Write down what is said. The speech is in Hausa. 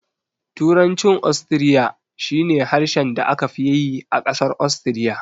Turancin Ostiriya shi ne harshen da aka fi yi a ƙasar Ostiriya.